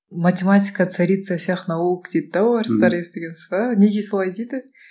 математика царица всех наук дейді де орыстар естігенсіз бе неге солай дейді